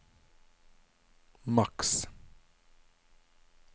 maks